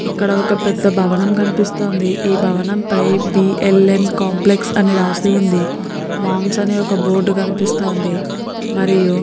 ఇక్కడ ఒక పెద్ద భవనం కనిపిస్తోంది. ఈ భవనం పై బి. ల. ఎన్ కాంప్లెక్స్ అని రాసి ఉంది. మామ్స్ అనే ఒక బోర్డు కనిపిస్తోంది. మరియు --